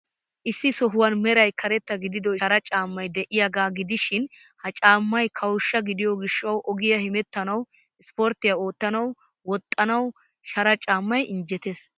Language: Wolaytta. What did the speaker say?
Issi sohuwan meray karetta gidido shara caammay de'iyaagaa gidishin, ha caammay kawushsha gidiyo gishshawu ogiyaa hemettanawu, ispporttiyaa oottanawu, woxxanawu shara caammay injjettees.